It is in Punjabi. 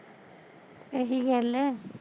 ਏਹੀ ਗੱਲ ਐ